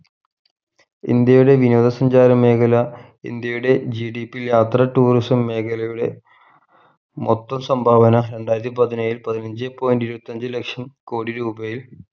ഇന്ത്യയുടെ വിനോദ സഞ്ചാര മേഖല ഇന്ത്യയുടെ GDP യാത്ര tourism മേഖലയുടെ മൊത്തം സംഭാവന രണ്ടായിരത്തി പതിനേഴിൽ പതിനഞ്ചേ point ഇരുപത്തഞ്ചു ലക്ഷം കോടി രൂപയിൽ